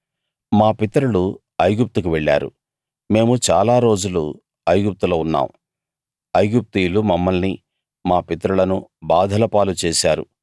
మా పితరులు ఐగుప్తుకు వెళ్ళారు మేము చాలా రోజులు ఐగుప్తులో ఉన్నాం ఐగుప్తీయులు మమ్మల్ని మా పితరులను బాధల పాలు చేశారు